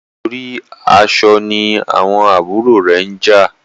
Nítorí aṣọ ní àwọn àbúrò rẹ njà